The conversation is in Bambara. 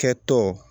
Kɛtɔ